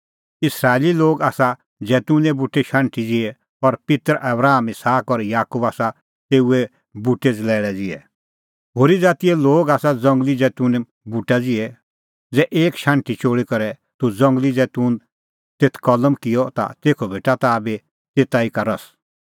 इस्राएली लोग आसा जैतूने बूटे शाण्हटी ज़िहै और पित्तर आबराम इसहाक और याकूब आसा तेऊ बूटे ज़लैल़ै ज़िहै होरी ज़ातीए लोग आसा ज़ंगली जैतूने बूटा ज़िहै ज़ै एक शाण्हटी चोल़ी करै तूह ज़ंगली जैतून तेथ कलम किअ ता तेखअ भेटा ताह बी तेता ई का रस